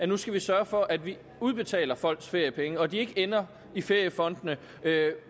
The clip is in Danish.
nu skal sørge for at vi udbetaler folks feriepenge og at de ikke ender i feriefondene